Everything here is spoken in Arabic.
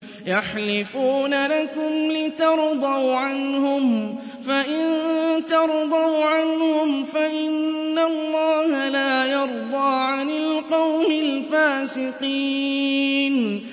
يَحْلِفُونَ لَكُمْ لِتَرْضَوْا عَنْهُمْ ۖ فَإِن تَرْضَوْا عَنْهُمْ فَإِنَّ اللَّهَ لَا يَرْضَىٰ عَنِ الْقَوْمِ الْفَاسِقِينَ